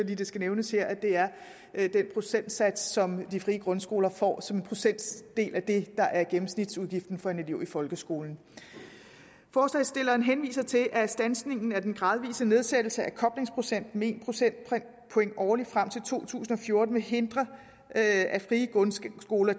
det skal nævnes her at det er den procentsats som de frie grundskoler får som procentdel af det der er gennemsnitsudgiften for en elev i folkeskolen forslagsstillerne henviser til at standsningen af den gradvise nedsættelse af koblingsprocenten med en procentpoint årligt frem til to tusind og fjorten vil hindre at at frie grundskoler